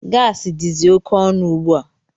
Gaasi dizi oké ọnụ ugbua.